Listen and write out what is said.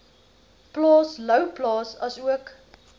plaas louwplaas asook